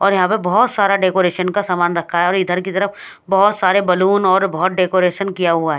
और यहां पे बहोत सारा डेकोरेशन का सामान रखा है और इधर की तरफ बहोत सारे बैलून और बहुत डेकोरेशन किया हुआ है।